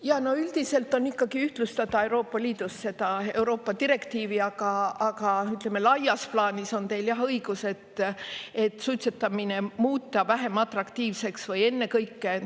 Jaa, no üldiselt on ikkagi ühtlustada Euroopa Liidus seda Euroopa direktiivi, aga, ütleme, laias plaanis on teil jah õigus, et suitsetamine muuta vähem atraktiivseks, või ennekõike.